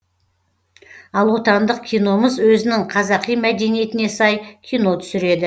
ал отандық киномыз өзінің қазақи мәдениетіне сай кино түсіреді